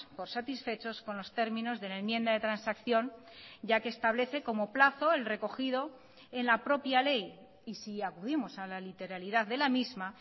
por satisfechos con los términos de la enmienda de transacción ya que establece como plazo el recogido en la propia ley y si acudimos a la literalidad de la misma